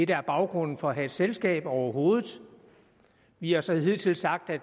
der er baggrunden for at have et selskab overhovedet vi har så hidtil sagt at